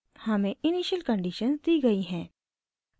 हमें initial conditions दी गयी हैं